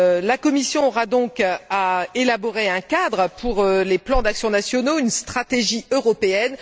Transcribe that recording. La Commission aura donc à élaborer un cadre pour les plans d'action nationaux, une stratégie européenne.